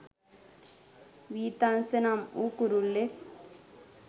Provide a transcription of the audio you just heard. වීතංස නම් වූ කුරුල්ලෙක්.